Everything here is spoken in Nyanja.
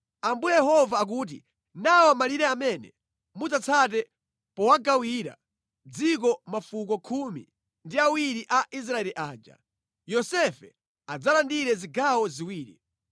Ambuye Yehova akuti, “Nawa malire amene mudzatsate powagawira dziko mafuko khumi ndi awiri a Israeli aja. Yosefe adzalandire zigawo ziwiri.